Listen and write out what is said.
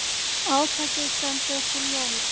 Átakið stendur til jóla.